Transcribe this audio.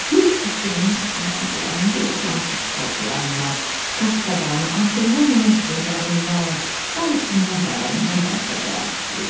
Yox sistemi aman Allah indi o fransız xalçalarından, Kafqadan, Antonioninin filmlərindən, Qaliçin nəğmələrindən danışacağıq.